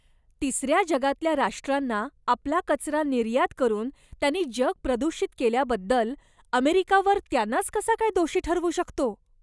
तिसर्या जगातल्या राष्ट्रांना आपला कचरा निर्यात करून त्यांनी जग प्रदूषित केल्याबद्दल अमेरिका वर त्यांनाच कसा काय दोषी ठरवू शकतो?